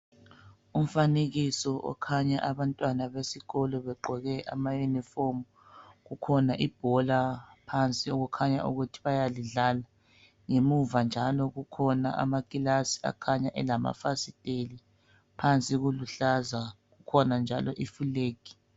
Umfanekiso okhanya abantwana besikolo begqoke ama unifomu kukhona ibhola phansi okukhanya ukuthi bayalidlala ngemuva njalo kukhona amakilasi akhanya elamafasiteli phansi kuluhlaza kukhona njalo ifilegi